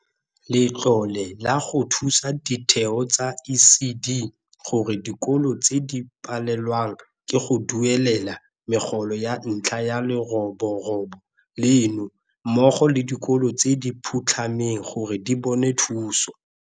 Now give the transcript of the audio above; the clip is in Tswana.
Letlole la go Thusa Ditheo tsa ECD gore dikolo tse di palelwang ke go duelela megolo ka ntlha ya leroborobo leno mmogo le dikolo tse di phutlhameng gore di bone thuso.